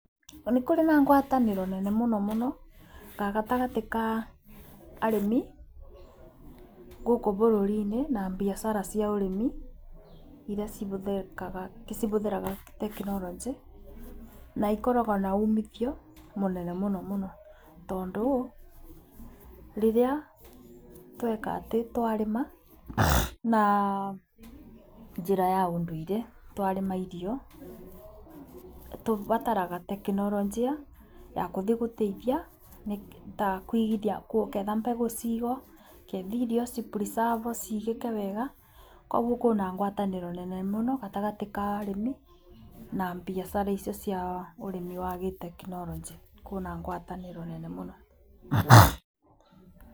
Nĩ kũrĩ na ngwatanĩro nene mũno gatagatĩ ka arĩmi gũkũ bũrũri-inĩ na mbiacara cia ũrĩmi iria cihũthĩkaga cihũthĩraga tekinoronjĩ, na ikoragwo na umithio mũnene mũno mũno. Tondũ rĩrĩa tweka atĩ twarĩma na njĩra ũndũire twarĩma irio tũbataraga tekinoronjia ya kũthi kũteithia, ta kũigithia kũketha mbegũ cigwo, ketha ithio cipuricabwo cigĩke wega. Ũguo kwina ngwatanĩro nene muno gatagatĩ ka arĩmi na mbiacara icio cia ũrimi wa gitekinoronjĩ, kwĩna ngwatançĩro nene mũno.